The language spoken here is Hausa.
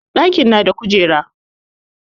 ɗaki na da kujera